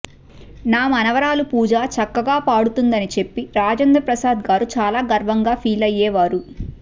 నా మనువరాలు పూజా చక్కగా పాడుతుందని చెప్పి రాజేంద్రప్రసాద్ గారు చాలా గర్వంగా ఫీల్ అయ్యేవారు